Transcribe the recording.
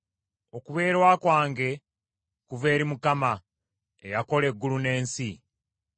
Okubeerwa kwange kuva eri Mukama , eyakola eggulu n’ensi.